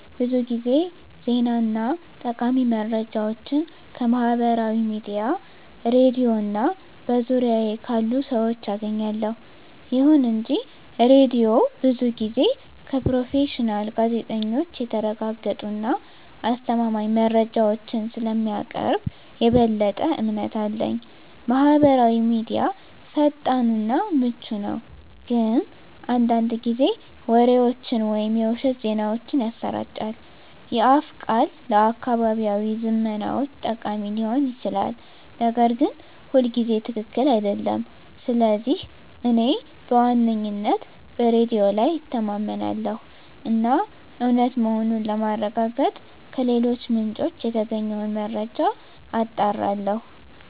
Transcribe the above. ብዙ ጊዜ ዜና እና ጠቃሚ መረጃዎችን ከማህበራዊ ሚዲያ፣ ሬድዮ እና በዙሪያዬ ካሉ ሰዎች አገኛለሁ። ይሁን እንጂ ሬዲዮው ብዙ ጊዜ ከፕሮፌሽናል ጋዜጠኞች የተረጋገጡ እና አስተማማኝ መረጃዎችን ስለሚያቀርብ የበለጠ እምነት አለኝ። ማህበራዊ ሚዲያ ፈጣን እና ምቹ ነው፣ ግን አንዳንድ ጊዜ ወሬዎችን ወይም የውሸት ዜናዎችን ያሰራጫል። የአፍ ቃል ለአካባቢያዊ ዝመናዎች ጠቃሚ ሊሆን ይችላል, ነገር ግን ሁልጊዜ ትክክል አይደለም. ስለዚህ እኔ በዋነኝነት በሬዲዮ ላይ እተማመናለሁ እና እውነት መሆኑን ለማረጋገጥ ከሌሎች ምንጮች የተገኘውን መረጃ አጣራለሁ።